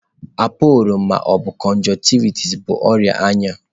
Appollo ma ọ bụ conjunctivitis bụ ọrịa anya.